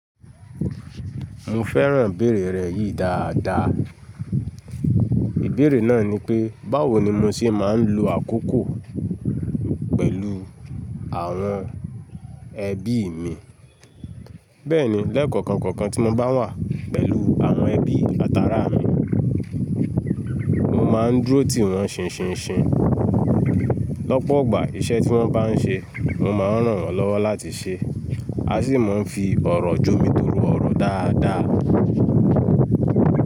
Mo fẹ́ràn ibèerè rẹ yìí dáadáa. Ìbéèrè náà ni pé, báwo ni mo ṣe máa ń lo àkókò pẹ̀lú àwọn ẹbí mi? Bẹ́ẹ̀ni, lẹ́ẹ̀koọ̀kan kọ̀ọ̀kan tí mo bá wà pẹ̀lú àwọn ẹbí àtarà mi, mo máa ń dúró tìwọ́n ṣinṣinṣin. Lọ́pọ̀ igbà iṣẹ́ tí wọ́n bá ń ṣe, mo máa ń ràn wọ́n lọ́wọ́ láti ṣe a sì máa ń fi ọ̀rọ̀ jó mi toro ọ̀rọ̀ dáadáa.